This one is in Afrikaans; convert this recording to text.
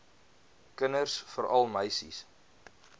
kinders veral meisies